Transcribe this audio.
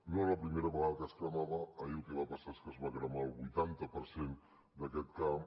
no era la primera vegada que es cremava ahir el que va passar és que es va cremar el vuitanta per cent d’aquest camp